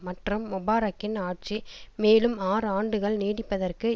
மற்றும் முபாரக்கின் ஆட்சி மேலும் ஆறு ஆண்டுகள் நீடிப்பதற்கு